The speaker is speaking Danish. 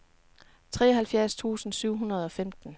treoghalvfjerds tusind syv hundrede og femten